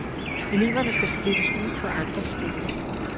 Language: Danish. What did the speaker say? Eleverne skal splittes ud på andre skoler.